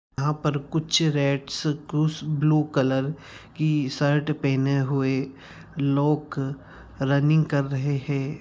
यहां पर कुछ रेड्स कुछ ब्लू कलर की शर्ट पहने हुए लोग रनिंग कर रहे हैं।